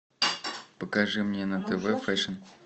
покажи мне на тв фэшн